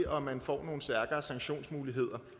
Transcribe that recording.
og at man får nogle stærkere sanktionsmuligheder